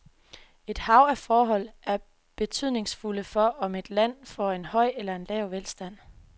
Et hav af forhold er betydningsfulde for, om et land får en høj eller lav velstand.